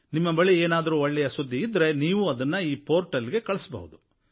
ನಿಮ್ಮ ಬಳಿ ಏನಾದರೂ ಒಳ್ಳೆಯ ಸುದ್ದಿಯಿದ್ದರೆ ನೀವು ಅದನ್ನು ಈ ಪೋರ್ಟಲ್ ಗೆ ಕಳಿಸಬಹುದು